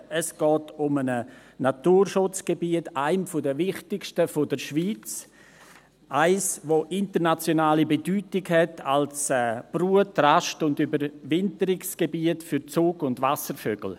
Es geht um eines der wichtigsten Naturschutzgebiete der Schweiz, eines, das internationale Bedeutung hat als Brut-, Rast- und Überwinterungsgebiet für Zug- und Wasservögel.